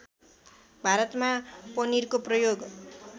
भारतमा पनिरको प्रयोग